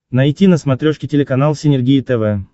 найти на смотрешке телеканал синергия тв